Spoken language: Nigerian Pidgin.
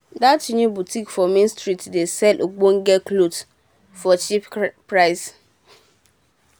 dat dat new botik for main street dey sell ogbonge clothes cheap